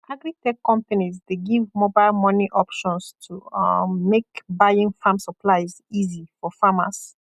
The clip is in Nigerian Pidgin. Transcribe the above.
agritech companies dey give mobile money options to um make buying farm supplies easy for farmers